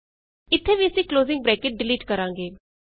ਇਥੇ ਵੀ ਅਸੀਂ ਕਲੋਜ਼ਿੰਗ ਬਰੈਕਟ ਡਿਲੀਟ ਕਰਾਂਗੇ